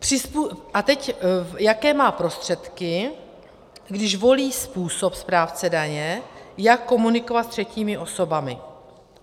A teď jaké má prostředky, když volí způsob správce daně, jak komunikovat s třetími osobami.